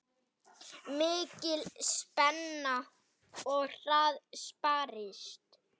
Mikil spenna og hart barist.